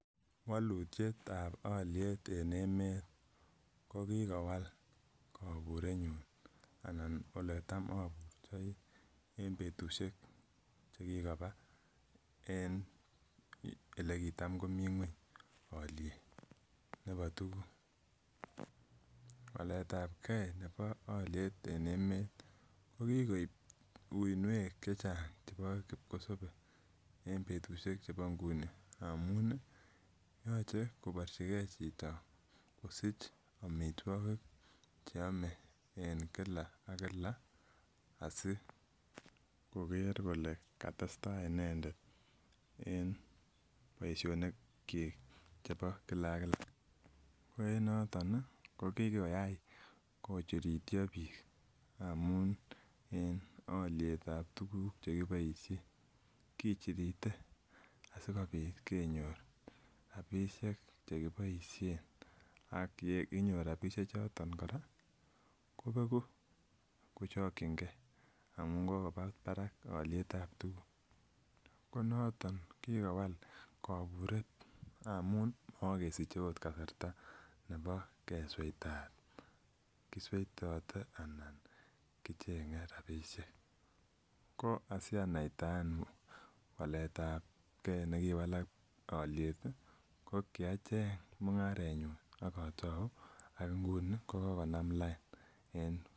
Walutiet walutietab aliet en emeet kokikowalak kokikowalak anan eletam aburtai en betusiek chekikoba en olekitam ko mii ng'uany aliet nebo tukuk. Waletabke nebo aliet en emeet kokikoib uuiniek chechang chebo kipkosobe en betusiek chebo nguni ngamun ih yoche koborchi ke chito kosich amituakik chemoe en Kila ak Kila askoker kole kitestai inendet en boisionik chik chebo Kila ak Kila ko en noton ko kikoyai ko chirityo biik amuun en alietab tukuk chekiboisien kichirite amuun sikenyor robishek chekiboisien ak ye kinyor rabisiek choton kora kobegu kochakien ke amuun kokoba barak alietab tuguk ko noton koburet ngamun uui kesich akot kasarta kesuitat kisuetate anan kichenge rabisiek. Ko asianaita waletabke nekiwalk aliet ih ko kichenge mung'aret nyun akotao ko inguni ko kokonam lain